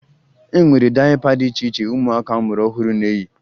E nwere dayịpa dị iche iche ụmụaka a mụrụ ọhụrụ na-eyi